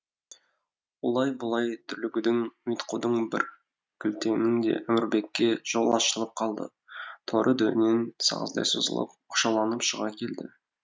олай бұлай дүрлігудің ұйтқудың бір кілтеңінде әмірбекке жол ашылып қалды торы дөнен сағыздай созылып оқшауланып шыға келді